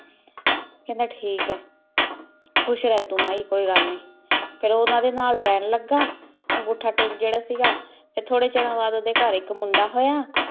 ਕਹੰਦਾ ਠੀਕ ਆਯ ਖੁਸ਼ ਰਹ ਤੂ ਮੈ ਕੋਈ ਗਲ ਨਾਈ ਤੇ ਊ ਓਹਨਾਂ ਦਯਾ ਨਾਲ ਰਹਨ ਲਗਾ ਅਨ੍ਗੋਥ ਟੇਕ ਜੇਰਾ ਸੀਗਾ ਟੀ ਥੋਰੀ ਚੇਰਨ ਬਾਅਦ ਓਡੀ ਘਰ ਏਇਕ ਮੁੰਡਾ ਹੋਯਾ